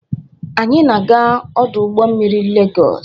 Anyị na-aga ọdụ ụgbọ mmiri Lagos?